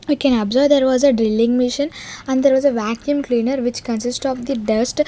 we can observe there was a drilling machine and there was a vaccum cleaner which consist of the dust.